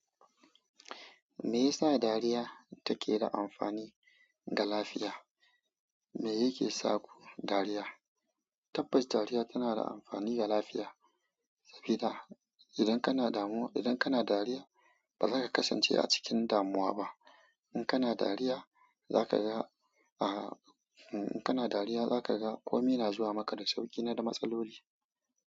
Me yasa dariya take da amfani ga lafiya? Me yake sa ku dariya? Tabbas dariya tana da amfani ga lafiya. Saboda, idan kana damuwa, idan kana dariya, ba za ka kasance a cikin damuwa ba. In kana dariya, za ka ga, in kana dariya za ka ga komai na zuwa maka da sauƙi da matsasoli.